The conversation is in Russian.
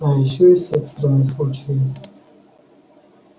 а ещё есть экстренные случаи